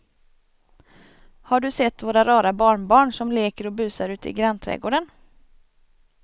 Har du sett våra rara barnbarn som leker och busar ute i grannträdgården!